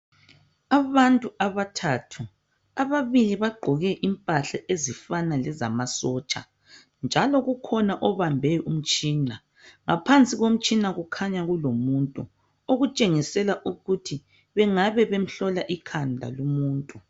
Abantu abathathu ababili bagqoke impahla ezifana lezamasotsha njalo ukhona obambe umtshina ngaphansi komtshina kukhanya kulomuntu okutshengisela ukuthi bengabe bemhlola ikhanda lumuntu